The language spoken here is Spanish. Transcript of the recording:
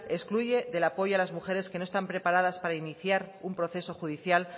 excluye del apoyo a las mujeres que no está preparadas para iniciar un proceso judicial